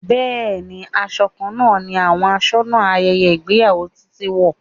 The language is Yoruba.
Bẹẹni, aṣọ kan náà ni àwọn asónà ayẹyẹ ìgbéyàwó Títí wo.